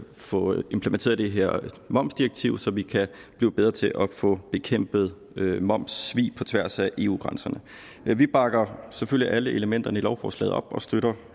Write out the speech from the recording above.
få implementeret det her momsdirektiv så vi kan blive bedre til at få bekæmpet momssvig på tværs af eu grænserne vi bakker selvfølgelig op om alle elementerne i lovforslaget og støtter